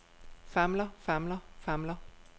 famler famler famler